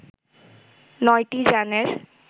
নয়টি যানের